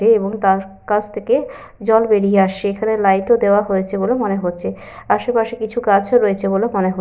এহ এবং তার কাছ থেকে জল বেরিয়ে আসছে। এখানে লাইট ও দেওয়া হয়েছে বলে মনে হচ্ছে। আশেপাশে কিছু গাছও রয়েছে বলে মনে হচ্ছে।